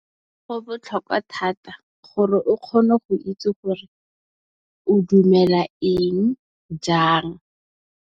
Go botlhokwa thata gore o kgone go itse gore o dumela eng, jang.